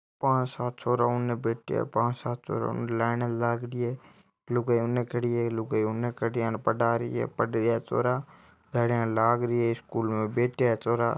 पांच सात छोरा उन बैठया है पांच सात छोरा उन लाइन लाग रही है लुगाया उन खड़ी है लुगाया उन खड़ी है आने पढा रही है पढ़ रहिया है छोरा थालियां लाग रही है स्कूल में बैठया है छोरा।